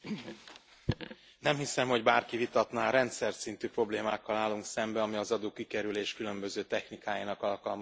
Nem hiszem, hogy bárki vitatná rendszerszintű problémákkal állunk szemben, ami az adókikerülés különböző technikáinak alkalmazását illeti.